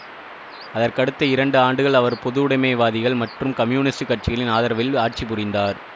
அதற்கடுத்த இரண்டு ஆண்டுகள் அவர் பொதுவுடைமைவாதிகள் மற்றும் கம்யூனிஸ்டு கட்சிகளின் ஆதரவில் ஆட்சி புரிந்தார்